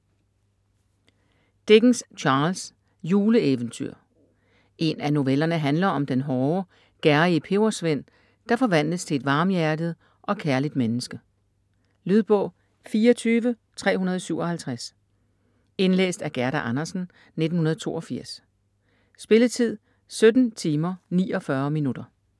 Dickens, Charles: Juleeventyr En af novellerne handler om den hårde, gerrige pebersvend, der forvandles til et varmhjertet og kærligt menneske. Lydbog 24357 Indlæst af Gerda Andersen, 1982. Spilletid: 17 timer, 49 minutter.